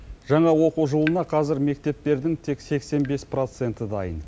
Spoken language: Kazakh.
жаңа оқу жылына қазір мектептердің тек сексен бес проценті дайын